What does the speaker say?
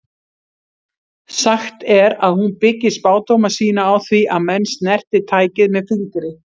Sagt er að hún byggi spádóma sína á því að menn snerti tækið með fingri.